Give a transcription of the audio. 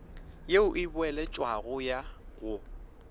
ye e boeletšwago ya go